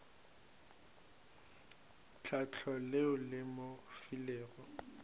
tlhahlo leo le mo filego